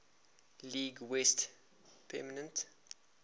league west pennant